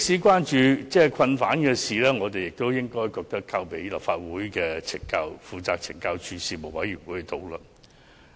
關乎囚犯的事宜，我們認為應交由立法會內負責懲教署事務的委員會討論。